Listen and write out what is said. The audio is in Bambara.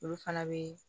Olu fana bɛ